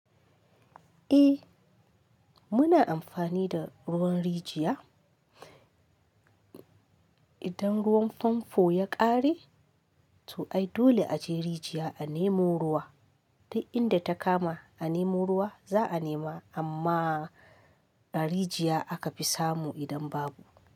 Eh muna amfani da ruwan rijiya. Idan ruwan famfo ya ƙare to ai dole a je rijiya a nemo ruwa. Duk inda ta kama a nemo ruwa za'a nema, amma a rijiya aka fi samu idan babu.